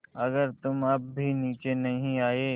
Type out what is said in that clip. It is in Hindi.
अगर तुम अब भी नीचे नहीं आये